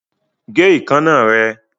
Gé ìkaná rẹ!